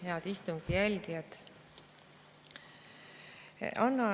Head istungi jälgijad!